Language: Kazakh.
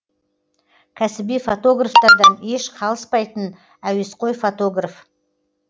кәсіби фотографтардан еш қалыспайтын әуесқой фотограф